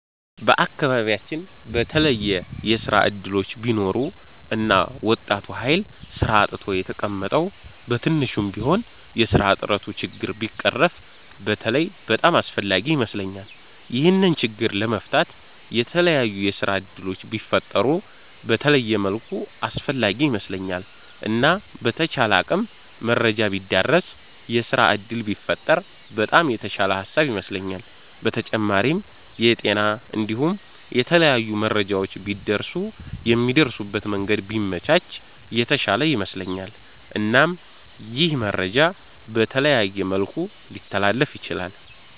በአከባቢያቺን በተለየ የስራ እድሎች ቢኖሩ እና ወጣቱ ሀይል ስራ አጥቶ የተቀመጠዉ በትንሹም ቢሆን የስራ አጥነቱ ችግር ቢቀረፍ በተለይ በጣም አስፍላጊ ይመስለኛል። ይሄንን ችግር ለመፍታት የተላያዩ የስራ እድሎች ቢፈጠሩ በተለየ መልኩ አስፈላጊ ይመስለኛል። እና በተቻለ አቅም መረጃ ቢዳረስ የስራ እድል ቢፈጠር በጣም የተሻለ ሃሳብ ይመስለኛል። በተጫማሪም የጤና እንዲሁም የተለያዩ መረጃዎች ቢደርሱ የሚደርሱበት መንገድ ቢመቻች የተሻለ ይመስለኛል። እናም ይህ መረጃ በተለያየ መልኩ ሊተላለፍ ይችላል።